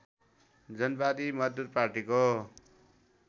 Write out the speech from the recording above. जनवादी मजदुर पार्टीको